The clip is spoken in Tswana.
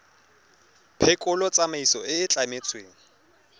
phekolo tsamaiso e e tlametsweng